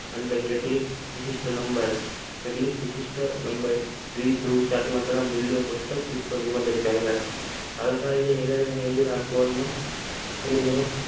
અને કેટલીક વિશિષ્ટ લંબાઈ